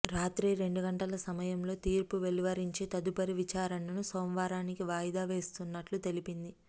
రాత్రి రెండు గంటల సమయంలో తీర్పు వెలువరించి తదుపరి విచారణను సోమవారానికి వాయి దా వేస్తున్నట్లు తెలిపింది